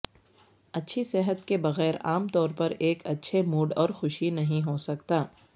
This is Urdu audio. اچھی صحت کے بغیر عام طور پر ایک اچھے موڈ اور خوشی نہیں ہو سکتا